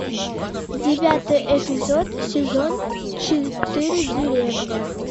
девятый эпизод сезон четыре деревня